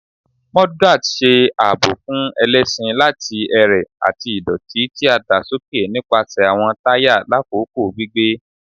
Mudguards ṣe aabo fun ẹlẹṣin lati ẹrẹ ati idoti ti a da soke nipasẹ awọn taya lakoko gbigbe